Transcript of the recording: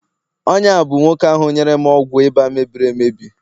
onye a bụ nwoke ahu nyere m ọgwụ ịba mebiri emebi